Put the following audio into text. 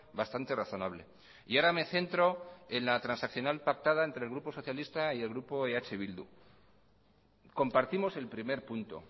bastante razonable y ahora me centro en la transaccional pactada entre el grupo socialista y el grupo eh bildu compartimos el primer punto